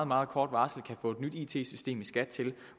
meget kort varsel kan få et nyt it system i skat til